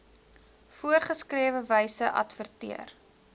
voorgeskrewe wyse adverteer